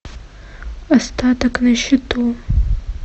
остаток на счету